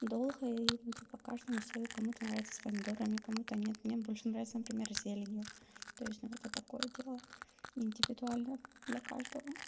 долгая и каждому своё кому-то нравится с помидорами кому-то нет мне больше нравится например зеленью то есть это такое дело индивидуально для каждого